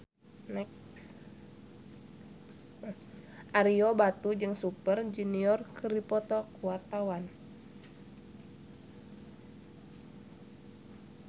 Ario Batu jeung Super Junior keur dipoto ku wartawan